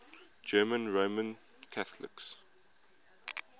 german roman catholics